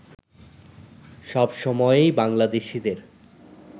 সবসময়েই বাংলাদেশীদের